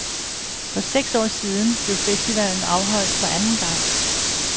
For seks år siden blev festivalen afholdt for anden gang.